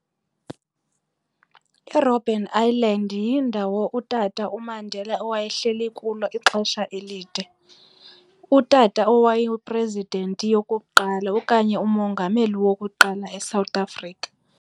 IRobben Island yindawo uTata uMandela owaye hleli kulo ixesha elide. Utata owayi-president yokuqala okanye umongameli wokuqala eSouth Africa.